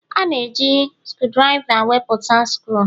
A na-eji skrudriva wepụta skru